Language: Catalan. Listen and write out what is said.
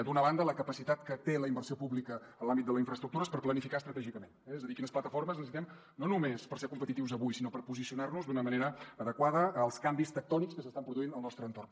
d’una banda la capacitat que té la inversió pública en l’àmbit de les infraestructures per planificar estratègicament eh és a dir quines plataformes necessitem no només per ser competitius avui sinó per posicionar nos d’una manera adequada als canvis tectònics que s’estan produint al nostre entorn